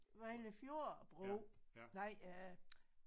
Vejle fjord bro nej øh